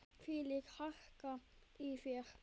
Þvílík harka í þér.